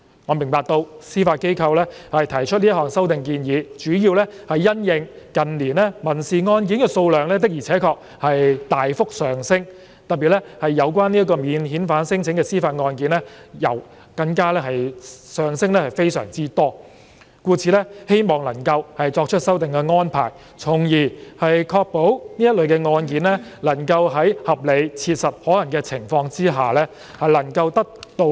我明白到司法機構提出這項修訂建議主要是因應近年民事案件數量的確大幅上升，尤其是有關免遣返聲請的司法覆核案件，故此希望能夠作出修訂的安排，從而確保這類案件能夠在合理、切實可行的情況下得以處理。